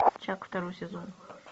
чак второй сезон